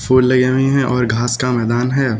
Full लगावें है और घास का मैदान है।